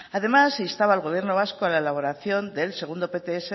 además se instaba al gobierno vasco a la elaboración del segundo pts